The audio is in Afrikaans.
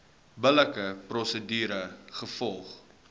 billike prosedure gevolg